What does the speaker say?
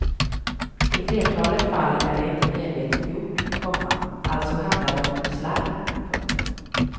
I flertalet fall är det inte medvetet gjort, komma alltså handlar det om slarv. punkt